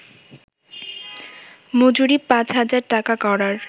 মজুরি পাঁচ হাজার টাকা করার